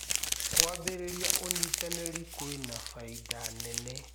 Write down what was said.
Kũambĩrĩrĩa ũnyĩtanĩrĩ kwĩna baĩda nene